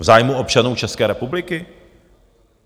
V zájmu občanů České republiky?